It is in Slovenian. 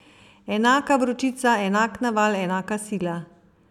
Enaka vročica, enak naval, enaka sila.